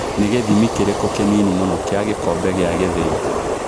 Nĩ gĩthimi kĩrikũ kĩnini mũno Kia gĩkombe gĩa gĩthĩi